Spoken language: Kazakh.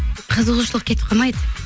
қызығушылық кетіп қалмайды